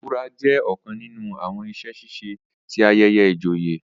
ìbura jẹ ọkàn nínú àwọn iṣẹ-ṣiṣe tí ayẹyẹ ìjòyè